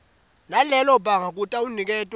nalelo banga kutawuniketwa